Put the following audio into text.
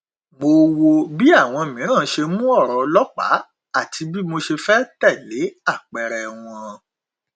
mo wo bí àwọn mìíràn ṣe mu ọrọ ọlọpàá àti bí mo ṣe fẹ tẹlé ápẹẹrẹ wọn